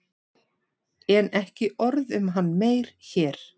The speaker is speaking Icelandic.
En ekki orð um hann meir hér.